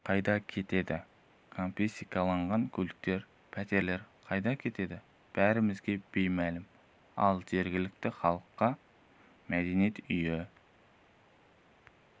қайда кетеді конфискацияланған көліктер пәтерлер қайда кетеді бәрімізге бей мәлім ал жергілікті халыққа мәдениет үйі